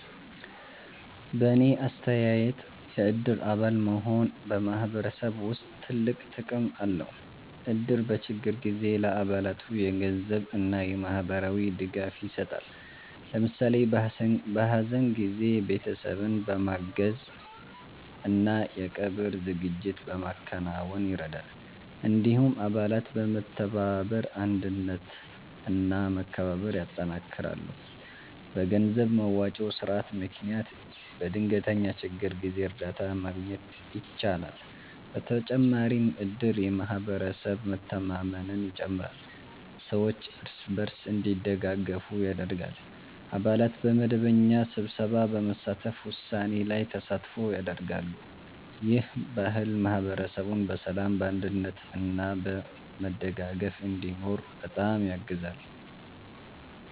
በእኔ አስተያየት የእድር አባል መሆን በማህበረሰብ ውስጥ ትልቅ ጥቅም አለው። እድር በችግር ጊዜ ለአባላቱ የገንዘብ እና የማህበራዊ ድጋፍ ይሰጣል። ለምሳሌ በሀዘን ጊዜ ቤተሰብን በማገዝ እና የቀብር ዝግጅት በማከናወን ይረዳል። እንዲሁም አባላት በመተባበር አንድነት እና መከባበር ያጠናክራሉ። በገንዘብ መዋጮ ስርዓት ምክንያት በድንገተኛ ችግር ጊዜ እርዳታ ማግኘት ይቻላል። በተጨማሪም እድር የማህበረሰብ መተማመንን ይጨምራል፣ ሰዎች እርስ በርስ እንዲደጋገፉ ያደርጋል። አባላት በመደበኛ ስብሰባ በመሳተፍ ውሳኔ ላይ ተሳትፎ ያደርጋሉ። ይህ ባህል ማህበረሰቡን በሰላም፣ በአንድነት እና በመደጋገፍ እንዲኖር በጣም ያግዛል።